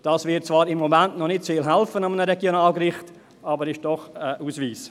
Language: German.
Das wird zwar im Moment an einem Regionalgericht noch nicht sehr helfen, aber ist doch ein Ausweis.